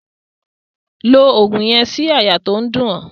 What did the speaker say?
Lo ògùn yen sí àyà to n dún o